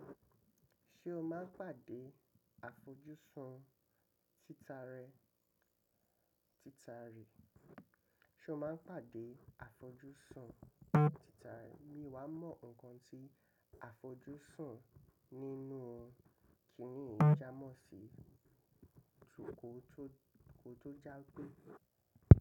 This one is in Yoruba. Ṣé o máa ń pàdé àfojúsùn títà rẹ̀? Mi o wá mọ́ ǹnkan tí àfojúsùn nínú kín ni yíi jámọ̀ sí, tòkó tó jágbe.